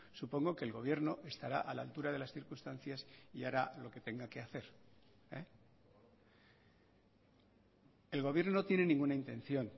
supongo que el gobierno estará a la altura de las circunstancias y hará lo que tenga que hacer el gobierno no tienen ninguna intención